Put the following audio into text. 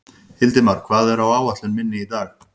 Hildimar, hvað er á áætluninni minni í dag?